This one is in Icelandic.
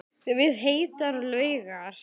Við heitar laugar